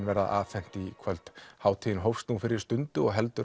verða afhent í kvöld hátíðin hófst nú fyrir stundu og heldur